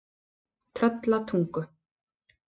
Tröllatungu